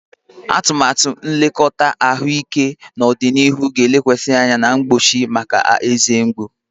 Atụmatụ nlekọta ahụike n'ọdịnihu ga-elekwasị anya na mgbochi mgbochi maka eze mgbu.